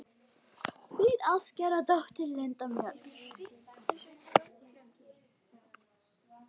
Þín ástkæra dóttir, Linda Mjöll.